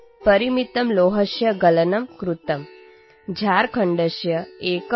झारखण्डस्य एकः कृषकः मुद्गरस्य दानं कृतवान्